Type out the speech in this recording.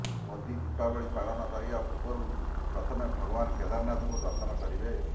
ମୋଦୀ ଦୀପାବଳି ପାଳନ କରିବା ପୂର୍ବରୁ ପ୍ରଥମେ ଭଗବାନ କେଦାରନାଥଙ୍କୁ ଦର୍ଶନ କରିବେ